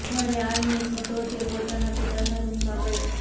ઘરે આવીને સીધો જ એ પોતાના પિતાના રૂમમાં ગયો